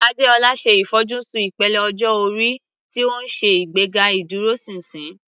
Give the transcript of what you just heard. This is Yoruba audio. Adeola ṣe àfojúsùn ìpele ọjọ́ orí tí ó ń ṣe ìgbéga ìdúróṣinṣin.